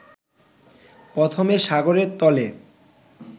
প্রথমে সাগরের তলে